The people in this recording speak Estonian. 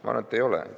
Ma arvan, et ei ole.